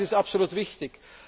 Das ist absolut wichtig.